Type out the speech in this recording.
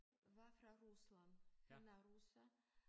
Var fra Rusland han er russer